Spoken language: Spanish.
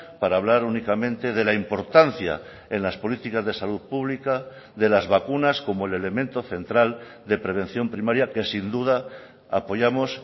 para hablar únicamente de la importancia en las políticas de salud pública de las vacunas como el elemento central de prevención primaria que sin duda apoyamos